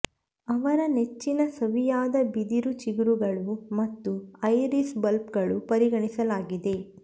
ಅವರ ನೆಚ್ಚಿನ ಸವಿಯಾದ ಬಿದಿರು ಚಿಗುರುಗಳು ಮತ್ತು ಐರಿಸ್ ಬಲ್ಬ್ಗಳು ಪರಿಗಣಿಸಲಾಗಿದೆ